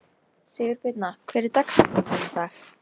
Sigurbirna, hver er dagsetningin í dag?